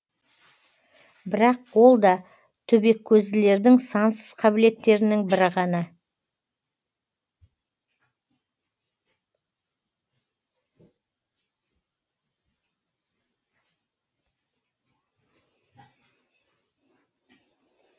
бірақ ол да төбекөзділердің сансыз қабілеттерінің бірі ғана